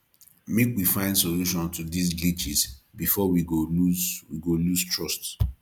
make we find solution to dise glitches before we go lose we go lose trust